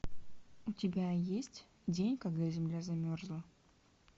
у тебя есть день когда земля замерзла